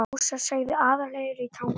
Fúsa, sagði Aðalheiður í Tanga.